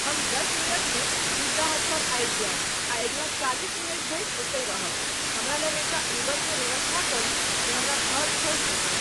हम दस मिनट में पिज़्ज़ा हट पर आबि जायब आ अगिला चालीस मिनट धरि ओतय रहब हमरा लेल एकटा उबर के व्यवस्था करू जे हमरा घर छोड़ि सकय